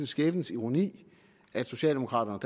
skæbnens ironi at socialdemokraterne